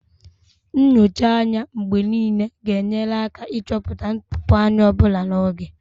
Nyocha anya mgbe niile ga-enyere aka ịchọpụta ntụpọ anya ọ bụla n'oge